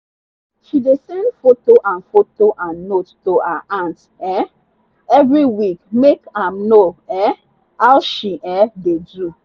she dey send photo and photo and note to her aunt um every week make am know um how she um dey do.